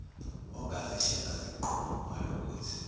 ongazeshela zikuqome ungalokothi